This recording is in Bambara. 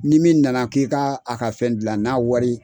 Ni min na na k'i ka a ka fɛn dilan n'a wari